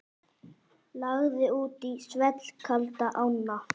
Lagði út í svellkalda ána